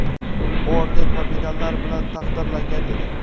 orden va medallar bilan taqdirlangan edi.